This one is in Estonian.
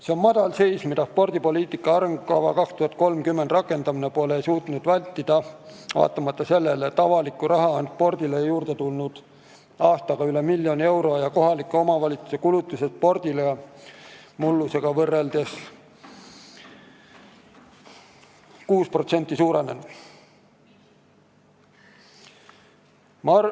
See on madalseis, mida spordipoliitika arengukava aastani 2030 rakendamisega pole suudetud vältida, vaatamata sellele, et avalikku raha on spordile aastaga üle miljoni euro juurde tulnud ja kohalike omavalitsuste kulutused spordile on mullusega võrreldes 6% suurenenud.